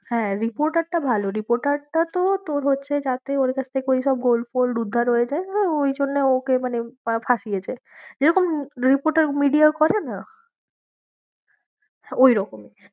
হ্যাঁ, reporter টা ভালো repoter টা তো তোর হচ্ছে যাতে ওর কাছ থেকে ঐসব gold fold উদ্ধার হয়েছে, ও ঐজন্য ওকে মানে আহ ফাঁসিয়েছে যেরকম reporter media করে না, হম হম হম ঐরকমই।